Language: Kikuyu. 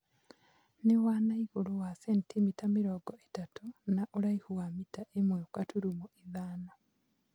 Nĩ wa na igũrũ wa sentimita mĩrongo ĩtatũ na ũraihu wa mita ĩmwe gaturumo ithano.